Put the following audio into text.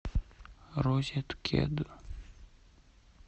розеткед